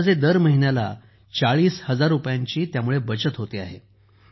अंदाजे दर महिन्याला 40000 रुपयांची बचत होते आहे